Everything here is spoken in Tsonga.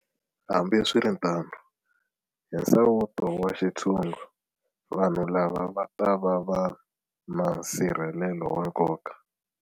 Hambiswiritano, hi nsawuto wa xintshungu, vanhu lava va ta va na nsirhelelo wa nkoka.